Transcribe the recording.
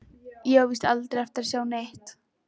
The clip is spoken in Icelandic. Ég á víst aldrei eftir að sjá neitt.